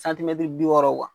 bi wɔɔrɔ